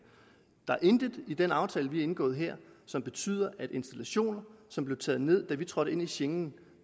der er intet i den aftale vi har indgået her som betyder at installationer som blev taget ned da vi trådte ind i schengen